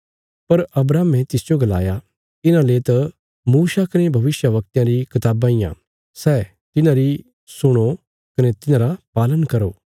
पर अब्राहमे तिसजो गलाया तिन्हाले त मूसा कने भविष्यवक्तयां री कताबां इयां सै तिन्हारी सुणो कने तिन्हांरा पालन करो